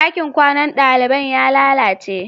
Ɗakin kwanan daliban ya lalace.